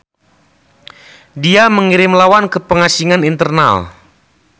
Dia mengirim lawan ke pengasingan internal.